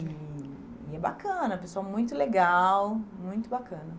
E e é bacana, é uma pessoa muito legal, muito bacana.